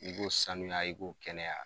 I ko sanuya i ko kɛnɛya.